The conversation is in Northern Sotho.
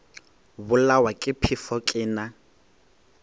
bolawa ke phefo ke na